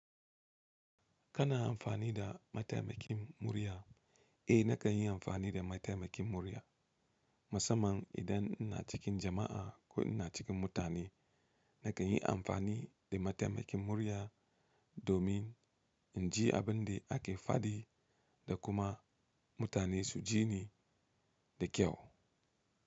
Kana amfani da mataimakin murya? Eh nakan yi amfani da mataimakin murya. Musamman idan ina cikin jama'a ko ina cikin mutane, nakan yi amfani da mataimakin murya domin in ji abin da ake faɗi da kuma mutane su ji ni da kyau.